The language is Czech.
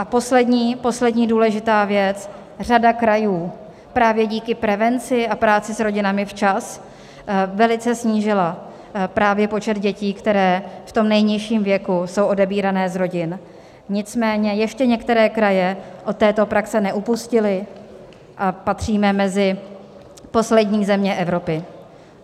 A poslední důležitá věc: řada krajů právě díky prevenci a práci s rodinami včas velice snížila právě počet dětí, které v tom nejnižším věku jsou odebírány z rodin, nicméně ještě některé kraje od této praxe neupustily a patříme mezi poslední země Evropy.